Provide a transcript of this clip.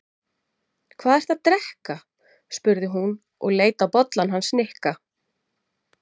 Hvað ertu að drekka? spurði hún og leit á bollann hans Nikka.